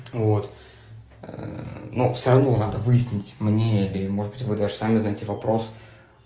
вот ну всё равно надо выяснить мне или может быть вы даже сами знаете вопрос